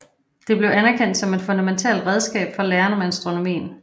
Det blev anerkendt som et fundamentalt redskab for læren om astronomien